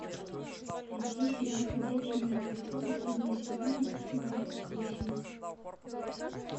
найти сериал ходячие мертвецы последний сезон эпизод двадцать восемь